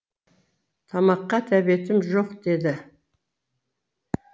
тамаққа тәбетім жоқ деді